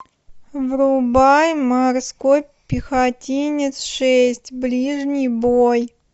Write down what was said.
врубай морской пехотинец шесть ближний бой